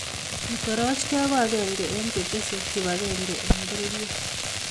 Ketorochgei ko akenge eng chetesei kibakebge ebng bororie.